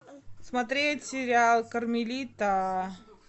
смотреть сериал кармелита